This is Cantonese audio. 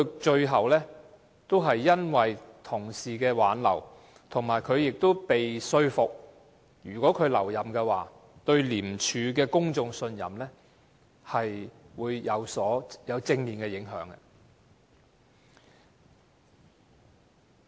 最後，他因為同事的挽留而留任，而且他也被說服，如果他留任，對廉署的公眾信任會有正面的影響。